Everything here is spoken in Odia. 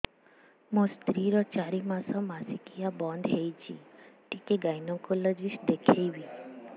ମୋ ସ୍ତ୍ରୀ ର ଚାରି ମାସ ମାସିକିଆ ବନ୍ଦ ହେଇଛି ଟିକେ ଗାଇନେକୋଲୋଜିଷ୍ଟ ଦେଖେଇବି